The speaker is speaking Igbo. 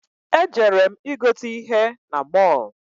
Ejere m i gote ihe na mọl.